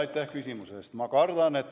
Aitäh küsimuse eest!